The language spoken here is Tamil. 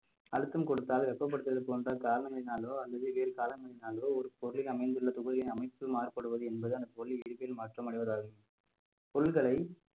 அழுத்தம் கொடுத்தால் வெப்பப்படுத்துவது போன்ற காரணங்களினாலோ அல்லது வேறு காரணங்களினாலோ ஒரு பொருளின் அமைந்துள்ள தொகுதியின் அமைப்பு மாறுபடுவது என்பது அந்த பொருள் இயற்பியல் மாற்றம் அடைவதாகும் பொருள்களை